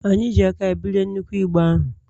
anyị ji aka anyị bulie nnukwu igbe ahụ